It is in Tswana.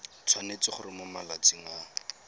tshwanetse gore mo malatsing a